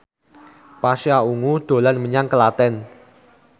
Pasha Ungu dolan menyang Klaten